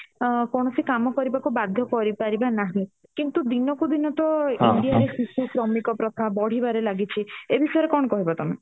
ଆଁ କୌଣସି କାମ କରିବାକୁ ବାଧ୍ୟ କରି ପାରିବା ନାହିଁ କିନ୍ତୁ ଦିନ କୁ ଦିନ ତ india ରେ ଶିଶୁ ଶ୍ରମିକ ପ୍ରଥା ବଢିବାରେ ଲାଗିଛି ଏ ବିଷୟରେ କଣ କହିବ ତମେ